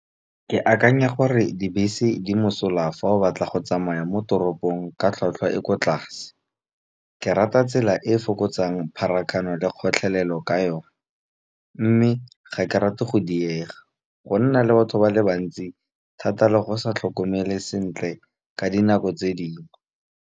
Ke akanya gore dibese di mosola fa o batla go tsamaya mo toropong ka tlhwatlhwa e ko tlase. Ke rata tsela e e fokotsang pharakano le kgotlhelelo ka yone. Mme ga ke rate go diega, go nna le batho ba le bantsi thata le go sa tlhokomele sentle ka dinako tse dingwe.